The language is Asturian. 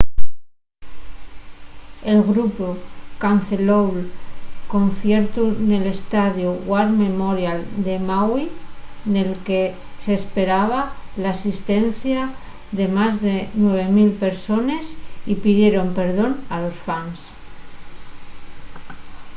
el grupu canceló'l conciertu nel estadiu war memorial de maui nel que s'esperaba l'asistencia de más de 9 000 persones y pidieron perdón a los fans